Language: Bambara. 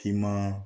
Finma